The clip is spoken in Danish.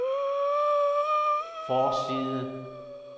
forside